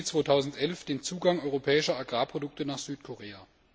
1. Juli 2011 den Zugang europäischer Agrarprodukte nach Südkorea.